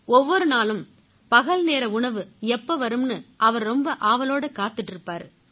ஒவ்வொரு நாளும் பகல்நேர உணவு எப்ப வரும்னு அவரு ரொம்ப ஆவலோட காத்திட்டு இருப்பாரு